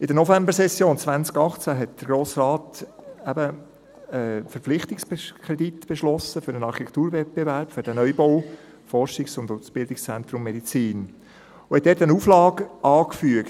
In der Novembersession 2018 beschloss der Grosse Rat den Verpflichtungskredit für den Architekturwettbewerb für den Neubau des Forschungs- und Ausbildungszentrums Medizin und fügte dort eine Auflage an.